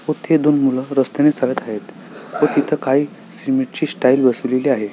इथे दोन मूल रस्त्यांनी चालत आहेत व तिथ काही सीमेंट ची टाईल्स बसवलेली आहे.